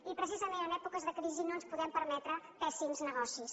i precisament en èpoques de crisi no ens podem permetre pèssims negocis